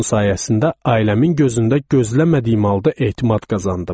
Bunun sayəsində ailəmin gözündə gözləmədiyim halda etimad qazandım.